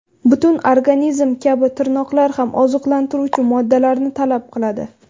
Butun organizm kabi tirnoqlar ham oziqlantiruvchi moddalarni talab qiladi.